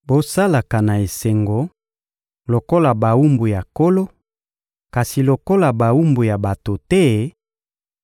Bosalaka na esengo lokola bawumbu ya Nkolo, kasi lokola bawumbu ya bato te,